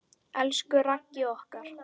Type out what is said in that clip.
Elsku Raggi okkar.